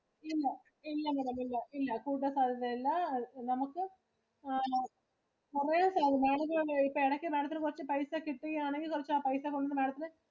Scheme ഓ ഇല്ല Madam ഇല്ല ഇല്ല ഇന്റെ ഇല്ല നമുക്ക് ആണോ കുറെ ശതമാനം തന്നെ ഇടയ്ക്കു മഠംത്തിനു കുറച്ചു പൈസ കിട്ടുകയാണെങ്കിൽ കുറച്ചു ആ പൈസ കൊണ്ട് Madam ത്തിനു